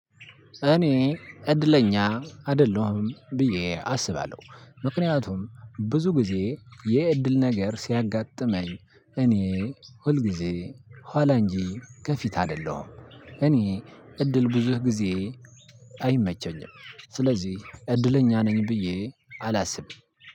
እኔ እድለኛ አይደለሁም ብዬ አስባለሁ። ምክንያቱም ብዙ ጊዜ የእድል ነገር ሲያጋጥመኝ እኔ ሁል ጊዜ ኋላ እንጂ ከፊት አይደለሁም። እኔ እድል ብዙ ግዜ አይመቸኝም። ስለዚህ እድለኛ ነኝ ብዬ አላስብም።